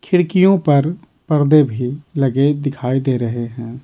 खिड़कियों पर पर्दे भी लगे दिखाई दे रहे हैं।